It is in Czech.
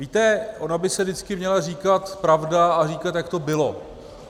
Víte, ona by se vždycky měla říkat pravda a říkat, jak to bylo.